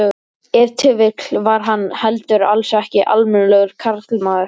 Ef til vill var hann heldur alls ekki almennilegur karlmaður.